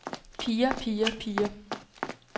piger piger piger